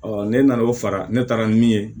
ne nana o fara ne taara min ye